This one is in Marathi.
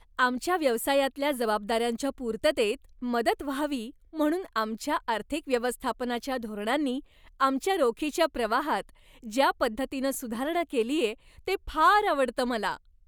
आमच्या व्यवसायातल्या जबाबदाऱ्यांच्या पूर्ततेत मदत व्हावी म्हणून आमच्या आर्थिक व्यवस्थापनाच्या धोरणांनी आमच्या रोखीच्या प्रवाहात ज्या पद्धतीनं सुधारणा केलीये ते फार आवडतं मला.